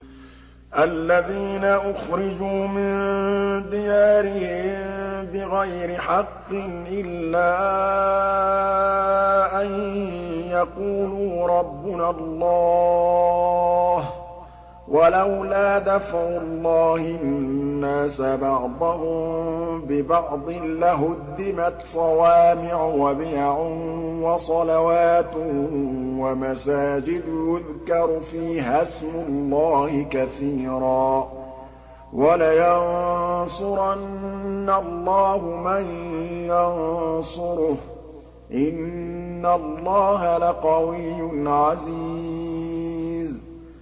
الَّذِينَ أُخْرِجُوا مِن دِيَارِهِم بِغَيْرِ حَقٍّ إِلَّا أَن يَقُولُوا رَبُّنَا اللَّهُ ۗ وَلَوْلَا دَفْعُ اللَّهِ النَّاسَ بَعْضَهُم بِبَعْضٍ لَّهُدِّمَتْ صَوَامِعُ وَبِيَعٌ وَصَلَوَاتٌ وَمَسَاجِدُ يُذْكَرُ فِيهَا اسْمُ اللَّهِ كَثِيرًا ۗ وَلَيَنصُرَنَّ اللَّهُ مَن يَنصُرُهُ ۗ إِنَّ اللَّهَ لَقَوِيٌّ عَزِيزٌ